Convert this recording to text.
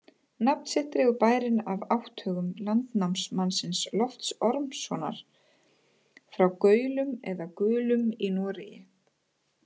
Nafn sitt dregur bærinn af átthögum landnámsmannsins Lofts Ormssonar frá Gaulum eða Gulum í Noregi.